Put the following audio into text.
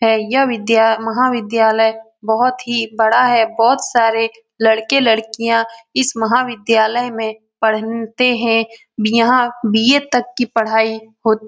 है यह विद्या महाविद्यालय बहोत ही बड़ा है बहुत सारे लड़के लड़कियाँ इस महाविद्यालय में पढ़नते हैं यहाँ बी.ए. तक की पढ़ाई हो --